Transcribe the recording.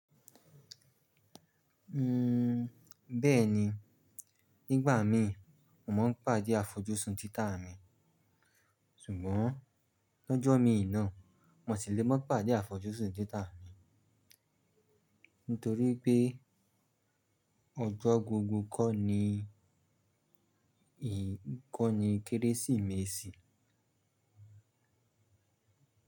Uhm, bẹ́ẹ̀ni, nígbà min, mo máa ń pàdé àfojúsùn títa mi. Ṣùgbọ́n lọ́jọ́ mi ina, mo sì lè má pàdé àfojúsùn títa mi nítorí pé ọjọ́ gbogbo kọ́ ni, kọ́ ni Kérésìmesì.